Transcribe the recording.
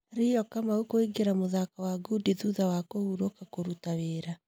Rio Kamau kũingĩra mũthako wa ngundi thutha wa kũhurũka kũruta wĩra.